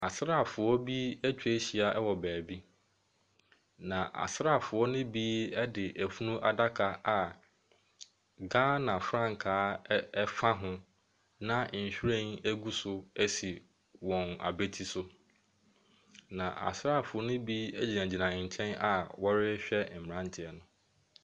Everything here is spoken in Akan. Asrafoɔ bi ɛtwahyia wɔ baabi. Na asrafoɔ no bi ɛde efunuadaka a Ghana frankaa ɛfa ho na nwhiren egu so esi wɔn abati so. Na asrafoɔ no bi egyinagyina nkyɛn a ɔrehwɛ mmaranteɛ no.